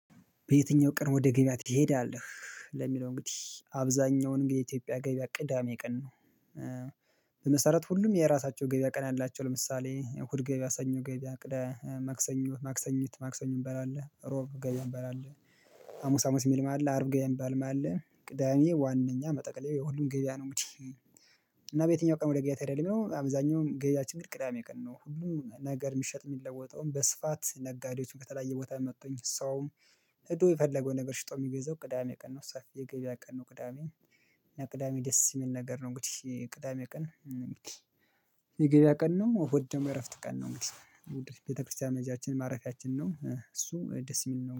በየትኛው ቀን ወደ ገበያ ትሄዳለህ ለሚለው እንግዲህ አብዛኛውን እንግዲህ የኢትዮጵያ ገበያ ቅዳሜ ቀን ነው? በመሰረቱ ሁሉም የራሳቸው ገበያ ቀን አላቸው። ለምሳሌ እሁድ ገበያ ሰኞ ገበያ ቅዳ ማክሰኞ ማክሰኝት ማክሰኞ እሚባል አለ እሮብ ገበያ እሚባል አለ። ሀሙስ ሀሙስ እሚልም አለ አርብ ገበያ እሚባልም አለ። ቅዳሜ ዋናኛ መጠቀለያ የሁሉም ገብያ ነው። እንግዲህ እና በየትኛው ቀን ወደ ገብያ ትሄዳለህ ለሚለው አብዛኛውም ገብያችን ቅዳሜ ቀን ነው። ሁሉም ነገር እሚሸጥ እሚለወጠውም በስፋት ነጋዴዎችም ከተለያየ ቦታ መጥተው ሰውም። ሄዱ የፈለገው ነገር ሽጦ የሚገዘው ቅዳሜ ቀን ነው። ሰፊ የገበያ ቀን ነው። ቅዳሜ እና ቅዳሜ ደስ የሚል ነገር ነው። እንግዲህ ቅዳሜ ቀን የገበያ ቀን ነው። እሁድ ደግሞ የእረፍት ቀን ነው። እንግዲህ ቤተክርስቲያን መሄጃችን ማረፊያችን ነው። እሱ ደስ እሚል ነው